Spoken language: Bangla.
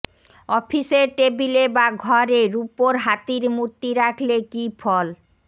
অফিসের টেবিলে বা ঘরে রুপোর হাতির মূর্তি রাখলে কী ফল